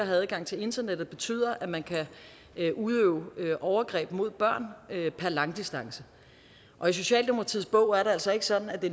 have adgang til internettet betyder at man kan udøve overgreb mod børn per langdistance og i socialdemokratiets bog er det altså ikke sådan at det